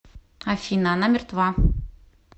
афина она мертва